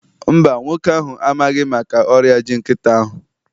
Mba, nwoke ahụ amaghị maka ọrịa ji nkịtị ahụ